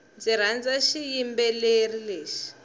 ndzi rhandza xiyimbeleri lexi